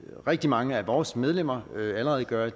rigtig mange af vores medlemmer allerede gør